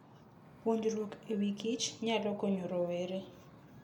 Puonjruok e wikich nyalo konyo rowere.